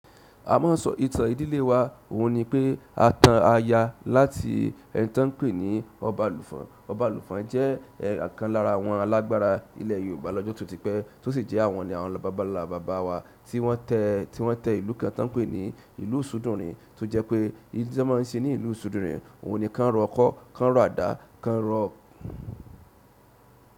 A máa sọ ìtàn ìdílé wa, òun ni pé a tan aya láti ẹni tí wọ́n ń pè ní Ọbalufon. Ọbalufon jẹ́ ọ̀kan lára àwọn alágbára ilẹ̀ Yorùbá lọ́jọ́ tó ti pẹ́ tó sì jẹ́ àwọn ni àwọn bàbá ńlá bàbá wa tí wọ́n tẹ, tí wọ́n tẹ ìlú kan tí wọ́n ń pè ní ìlú isudùni tó jẹ́ pé n tí wọ́n máa ń ṣe ní ìlú Isúdùni n òun ni ká ń rọ ọkọ́, ká ń rọ àdá, ká ń rọ.